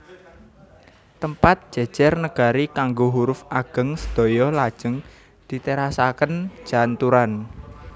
Tempat jejer negari kanggo huruf ageng sedaya lajeng diterasaken janturan